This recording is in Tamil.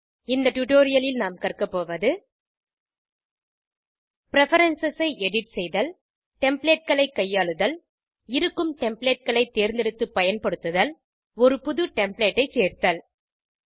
இந்த டுடோரியலில் நாம் கற்கபோவது பிரெஃபரன்ஸ் ஐ எடிட் செய்தல் Templateகளை கையாளுதல் இருக்கும் Templateகளை தேர்ந்தெடுத்து பயன்படுத்துதல் ஒரு புது டெம்ப்ளேட் ஐ சேர்த்தல்